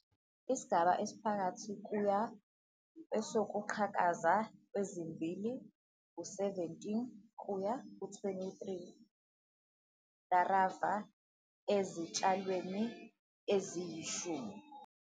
Isigaba esiphakathi kuya kwesokuqhakaza kwezimbali - u-17 kuya ku23 larva ezitshalweni eziyishumi.